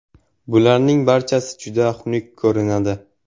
Bularning barchasi juda xunuk ko‘rinadi.